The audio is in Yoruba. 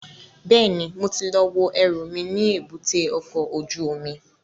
Bẹ́ẹ̀ni, mo ti lọ wo ẹrù mi ní èbúté ọkọ̀ ojú omi